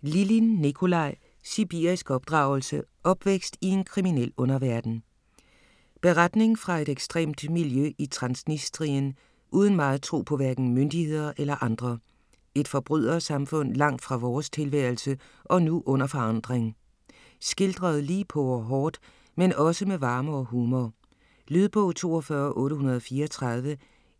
Lilin, Nicolai: Sibirisk opdragelse: opvækst i en kriminel underverden Beretning fra et ekstremt miljø i Transnistrien uden meget tro på hverken myndigheder eller andre. Et forbrydersamfund langt fra vores tilværelse og nu under forandring. Skildret lige på og hårdt, men også med varme og humor. Lydbog 42834